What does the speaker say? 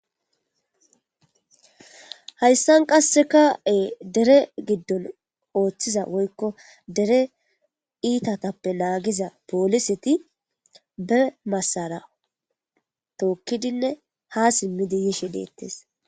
Hayssan qasseka'e dere giddon ooththiza woykko dere iitatappe naagiza pooliseti be massara tookkidinne ha simmidi yishe deettes.